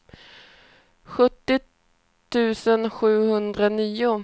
sjuttio tusen sjuhundranio